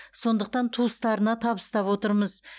сондықтан туыстарына табыстап отырмыз